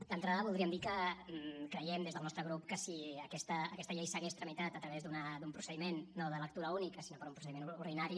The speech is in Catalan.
d’entrada voldríem dir que creiem des del nostre grup que si aquesta llei s’hagués tramitat a través d’un procediment no de lectura única sinó per un procediment ordinari